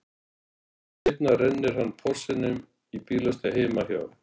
Nokkrum mínútum seinna rennir hann Porsinum í bílastæðið heima hjá